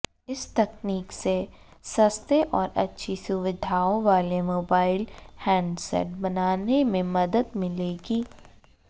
इस तकनीक से सस्ते और अच्छी सुविधाओं वाले मोबाइल हैंडसेट बनाने में मदद मिलेगी